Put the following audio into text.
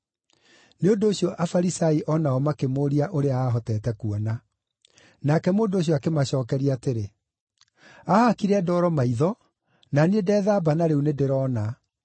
Nĩ ũndũ ũcio Afarisai o nao makĩmũũria ũrĩa aahotete kuona. Nake mũndũ ũcio akĩmacookeria atĩrĩ, “Aahakire ndoro maitho, na niĩ ndeethamba na rĩu nĩndĩrona.”